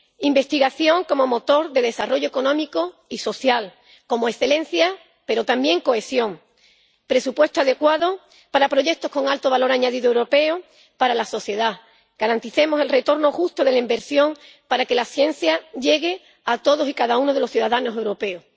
Investigación como motor de desarrollo económico y social, como excelencia, pero también cohesión. Presupuesto adecuado para proyectos con alto valor añadido europeo para la sociedad garanticemos el retorno justo de la inversión para que la ciencia llegue a todos y cada uno de los ciudadanos europeos.